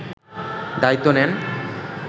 দায়িত্ব নেন